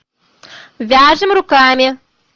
вяжем руками